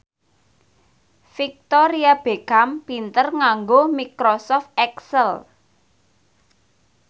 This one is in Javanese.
Victoria Beckham pinter nganggo microsoft excel